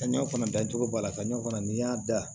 Kaɲa fana dacogo wala ka ɲɔ fana n'i y'a da